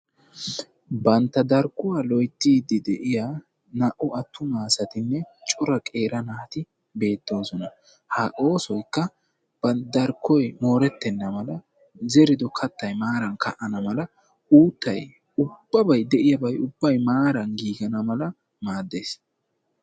Bantta darkkuwaa loyttiiddi de'iyaa naa'u attuma asatinne cora qeeri naati beettoosona ha oosoykka bantta darkkoy moorettenna mala zerido kattay maaran ka'ana mala uuttay ubbabay de'iyaabay ubbay maaran giigana mala maaddes.